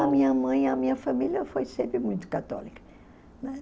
A minha mãe e a minha família foi sempre muito católica, né?